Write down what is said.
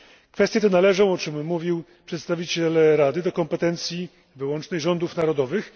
Kwestie te należą, o czym mówił przedstawiciel Rady, do kompetencji wyłącznej rządów narodowych.